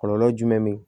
Kɔlɔlɔ jumɛn be yen